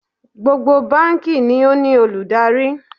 Gbogbo báǹkì ni ó ní olùdarí